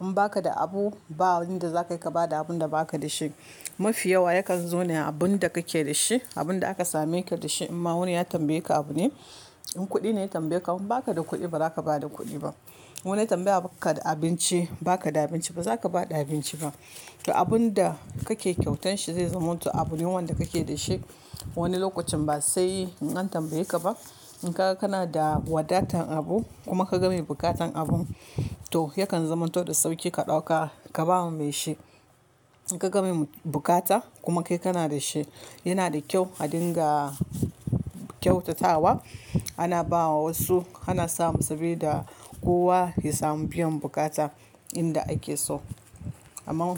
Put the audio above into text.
In baka da abu, ba wanda zaka iya bada abunda baka da shi. Mafi yawa yakan zo ne abunda kake da shi, abunda aka same ka da shi. In ma wani ya tambaye ka abu ne, in kuɗi ne ya tambaye ka in baka da kuɗi, ba za ka bada kuɗi ba. Wani ya tambaye ka da abinci, baka da abinci ba, ba za ka bada abinci ba. To abunda kake kyautar shi zai zamanto abu ne wanda kake da shi. Wani lokacin ba sai in an tambaye ka ba. In ka, kana da wadatan abu kuma ka game bukatan abun, to yakan zamanto da sauƙi ka ɗauka ka bawa mai shi. In ka game bukata kuma kai kana da shi, yana da kyau a dinga kyautatawa. Ana bawa wasu, ana samun sabilida kowa ya samu biyan bukata inda ake so. Amma.